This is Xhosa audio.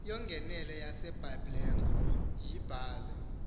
yongenelo yasebiblecor yibhale